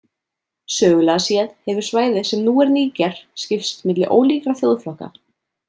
Sögulega séð hefur svæðið sem nú er Níger skipst milli ólíkra þjóðflokka.